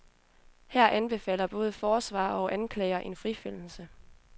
Her anbefaler både forsvarer og anklager en frifindelse.